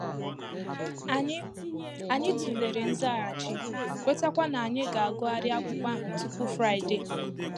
Ànyị Ànyị tụlere nzaghachi, kwetaakwa ná ànyà ga-agụghari akwụkwọ ahụ tupu fraịdee